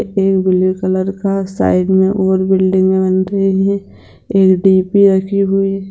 एक blue colour का side मे और बिल्डिंगे बन रही है एक डी.पी. रखी हुई है ।